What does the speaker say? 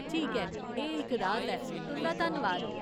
ठीक ऐ, एह् इक राह्त ऐ, तुंदा धन्नवाद !